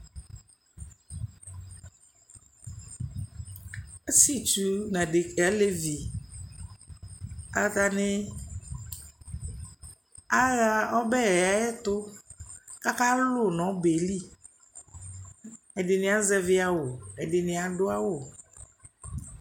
Asɩetsu nʋ adek nʋ alevi atanɩ aɣa ɔbɛ yɛ ɛtʋ kʋ akalʋ nʋ ɔbɛ yɛ li Ɛdɩnɩ azɛvɩ awʋ, ɛdɩnɩ adʋ awʋ